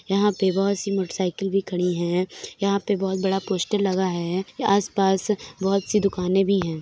यहाँ पर बहुत सी मोटरसाइकिल भी खड़ी है। यहाँ पर बहुत बड़ा पोस्टर लगा है। आसपास बहुत सी दुकानें भी हैं।